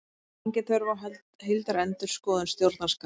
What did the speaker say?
Engin þörf á heildarendurskoðun stjórnarskrár